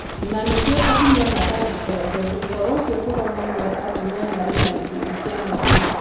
Na nĩkĩo atumia matangĩkaga tondũ ũhoro ũcio ndũronania atumia marĩ gĩkundi kĩa mwanya.